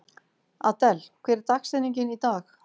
Adel, hver er dagsetningin í dag?